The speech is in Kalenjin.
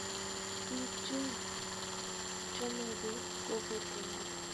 Biik Chun chomege kogotunge